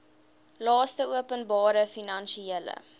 laste openbare finansiële